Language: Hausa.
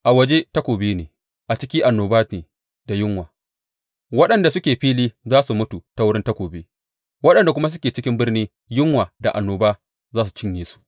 A waje takobi ne, a ciki annoba ne da yunwa; waɗanda suke fili za su mutu ta wurin takobi, waɗanda kuma suke cikin birni yunwa da annoba za su cinye su.